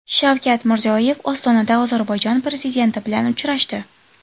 Shavkat Mirziyoyev Ostonada Ozarbayjon prezidenti bilan uchrashdi.